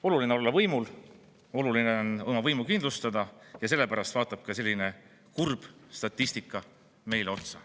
Oluline on olla võimul, oluline on oma võimu kindlustada, ja sellepärast vaatab ka selline kurb statistika meile otsa.